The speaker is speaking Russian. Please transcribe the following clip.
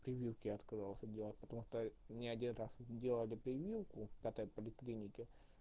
прививки отказался дела потом мне один раз делали прививку в этой поликлиники